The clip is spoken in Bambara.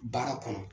Baara kɔnɔ